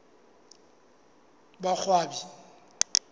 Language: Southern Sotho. boqwabi